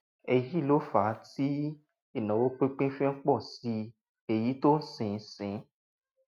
èyí ló fà á tí ìnáwó pínpín fi ń pọ sí i èyí tó sì ń sì ń